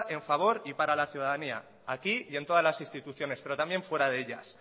en favor y para la ciudadanía aquí y en todas las instituciones pero también fuera de ellas